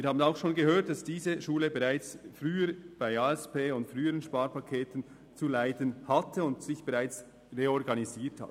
Wir haben auch schon gehört, dass diese Schule schon im Rahmen der Aufgaben- und Strukturüberprüfung (ASP) und früherer Sparpakete zu leiden hatte und sich bereits reorganisiert hat.